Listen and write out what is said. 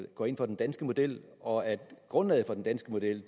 går ind for den danske model og at grundlaget for den danske model